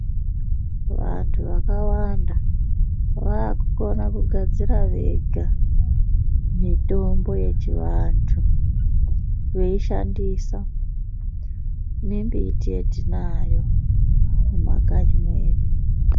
Vantu vakawanda vakugona kugadzira Vega mitombo yechivantu kuishandisa nembiti yatinayo mumakanyi medu.